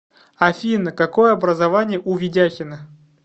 афина какое образование у ведяхина